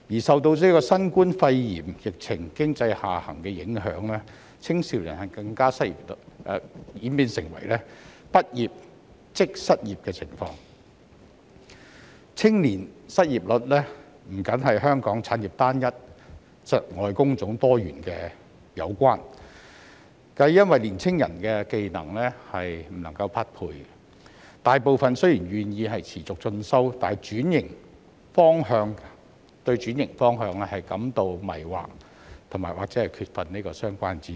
受新冠肺炎疫情經濟下行的影響，青少年更加演變成"畢業即失業"的情況，青少年失業率不單與香港產業單一窒礙工種多元的情況有關，亦因年青人的技能不能匹配，大部分青少年雖然願意持續進修，但對轉型方向仍然感到迷惑及缺乏相關知識。